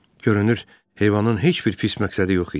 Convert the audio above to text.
Görünür heyvanın heç bir pis məqsədi yox idi.